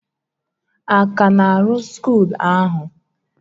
A ka na-arụ skuul ahụ?